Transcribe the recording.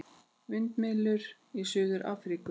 Vindmyllur í Suður-Afríku.